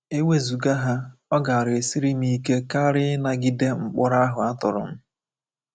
E wezụga ha, ọ gaara esiri m ike karị ịnagide mkpọrọ ahụ a tụrụ m.